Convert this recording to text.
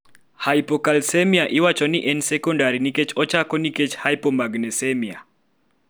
hypocalcemia iwachoni en "secondary" nikech ochako nkech hpomagnesemia